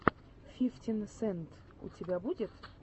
фифтин сент у тебя будет